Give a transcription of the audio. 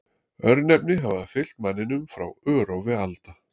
Örnefni hafa fylgt manninum frá örófi alda.